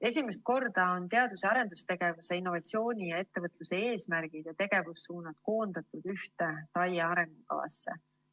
Esimest korda on teadus‑ ja arendustegevuse, innovatsiooni ja ettevõtluse eesmärgid ja tegevussuunad koondatud ühte TAIE arengukavasse.